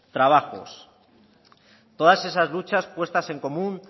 trabajos todas esas luchas puestas en común